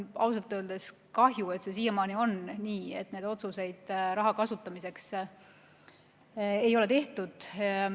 Ausalt öeldes kahju, et see siiamaani on nii, et raha kasutamise otsuseid ei ole tehtud.